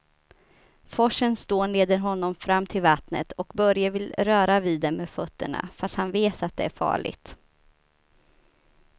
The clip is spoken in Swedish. Forsens dån leder honom fram till vattnet och Börje vill röra vid det med fötterna, fast han vet att det är farligt.